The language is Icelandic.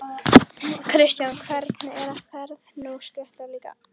Kristján: Hvernig er, ferð þú á stultur líka?